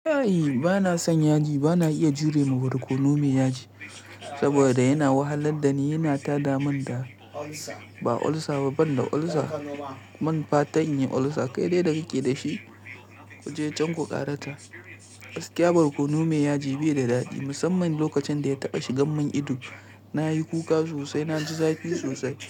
E, bana son yaji. Bana iya jure ma barkono mai yaji saboda yana wahalar da ni, yana tada min da, ba olsa ba, banda olsa, ban fatan nayi olsa. Kai dai da kike da shi ku je can ku ƙarata. Gaskiya barkono mai yaji bai da daɗi, musamman lokacin da ya taɓa shigan min ido. Na yi kuka sosai, na ji zafi sosai.